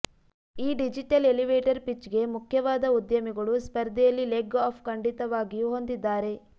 ಈ digital elevator ಪಿಚ್ಗೆ ಮುಖ್ಯವಾದ ಉದ್ಯಮಿಗಳು ಸ್ಪರ್ಧೆಯಲ್ಲಿ ಲೆಗ್ ಅಪ್ ಖಂಡಿತವಾಗಿಯೂ ಹೊಂದಿದ್ದಾರೆ